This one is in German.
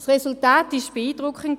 Das Resultat war beeindruckend.